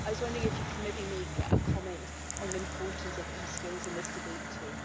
I was wondering if you could maybe make a comment on the importance of e skills in this debate, too.